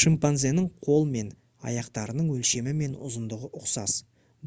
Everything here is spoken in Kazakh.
шимпанзенің қол мен аяқтарының өлшемі мен ұзындығы ұқсас